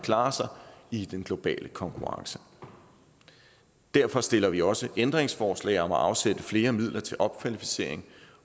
klare sig i den globale konkurrence derfor stiller vi også ændringsforslag om at afsætte flere midler til opkvalificering